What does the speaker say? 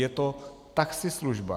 Je to taxislužba.